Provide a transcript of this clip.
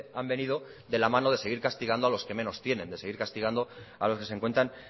han venido de la mano de seguir castigando a los que menos tienen de seguir castigando a los que se encuentran